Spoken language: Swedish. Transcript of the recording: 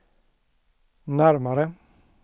närmare